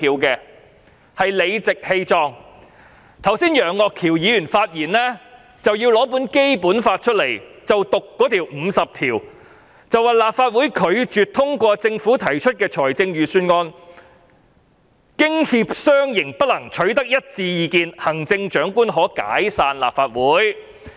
楊岳橋議員剛才發言時讀出《基本法》第五十條，說立法會拒絕通過政府提出的預算案，經協商仍不能取得一致意見，行政長官可解散立法會。